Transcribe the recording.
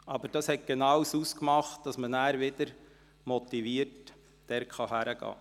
Dies machte es genau aus, um wieder motiviert zurückzukehren.